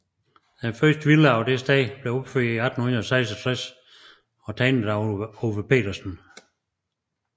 Den første villa på dette sted blev opført 1866 og tegnet af Ove Petersen